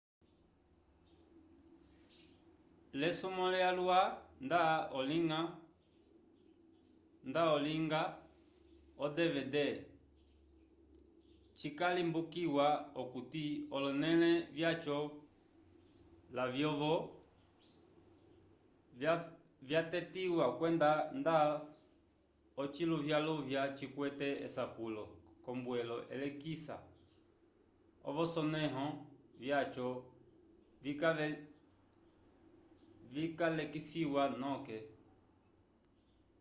l'esumwo lyalwa nda olinga o-dvd cikalimbukiwa okuti olonẽle vyaco lavyovo vyatetiwa kwenda nda ociluvyaluvya cikwete esapulo k'ombwelo elekisa ovsonẽho vyaco vikalekisiwa noke